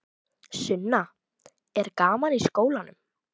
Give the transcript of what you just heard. Sunna: Er gaman í skólanum?